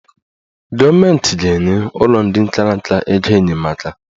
Gọọmenti ga-enye ụlọ ndị kara nka ego enyemaka